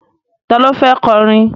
Ta ló fẹ́ kọrin?